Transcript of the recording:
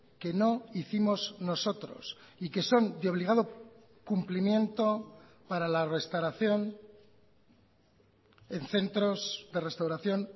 que no hicimos nosotros y que son de obligado cumplimiento para la restauración en centros de restauración